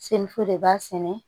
Semuso de b'a sɛnɛ